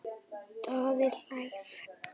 Daði hlær.